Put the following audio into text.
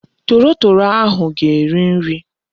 Torotoro ahu ga-eri nri